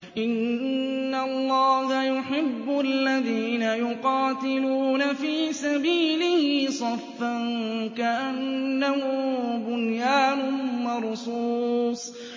إِنَّ اللَّهَ يُحِبُّ الَّذِينَ يُقَاتِلُونَ فِي سَبِيلِهِ صَفًّا كَأَنَّهُم بُنْيَانٌ مَّرْصُوصٌ